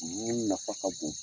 U ɲini nafa ka bon.